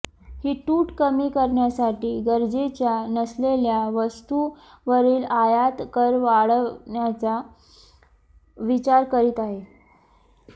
ही तूट कमी करण्यासाठी गरजेच्या नसलेल्या वस्तूंवरील आयात कर वाढवण्याचा विचार करीत आहे